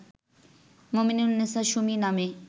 মোমেনুন্নেছা সুমি নামে